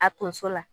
A tonso la